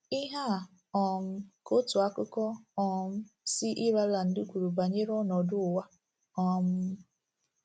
Ihe a um ka otu akụkọ um si Ireland kwuru banyere ọnọdụ ụwa. um